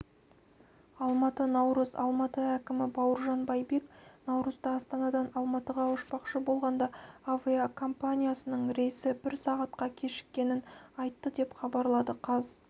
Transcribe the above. алматы наурыз алматы әкімі бауыржан байбек наурызда астанадан алматыға ұшпақшы болғанда авиакомпаниясының рейсі бір сағатқа кешіккенін айтты деп хабарлады қаз